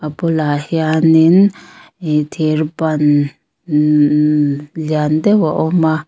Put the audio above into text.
a bulah hianin ihh thir ban umm umm lian deuh a awm a.